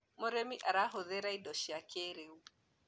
mũrĩmi arahuthira indo cia kĩiriu